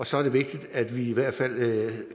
så er det vigtigt at vi